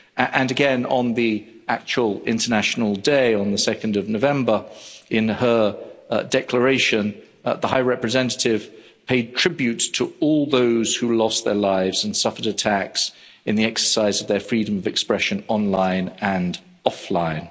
And again, on the actual International Day, on 2 November, in her declaration, the High Representative paid tribute to all those who lost their lives and suffered attacks in the exercise of their freedom of expression online and offline.